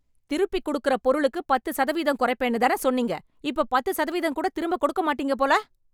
திருப்பிக் கொடுக்குற பொருளுக்கு பத்து சதவீதம் குறைப்பேன்னு தான சொன்னீங்க‌! இப்ப பத்து சதவீதம் கூட திரும்ப கொடுக்க மாட்டிங்க போல?